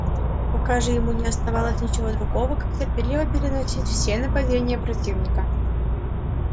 пока же ему не оставалось ничего другого как терпеливо переносить все нападения противника